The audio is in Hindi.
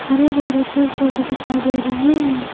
हरे भरे पेड़ पौधे दिखाई दे रहे हैं।